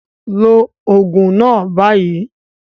Take the medication now